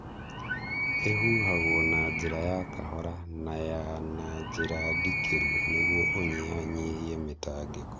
Ĩhuhagwo na njĩra ya kahora na ya na njĩra ndikĩru nĩguo ũnyihanyihie mĩtangĩko.